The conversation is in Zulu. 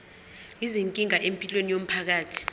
izinkinga empilweni yomphakathi